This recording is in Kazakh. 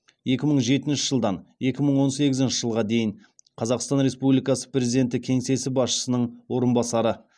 екі мың жетінші жылдан екі мың он сегізінші жылға дейін қазақстан республикасы президенті кеңсесі басшысының орынбасары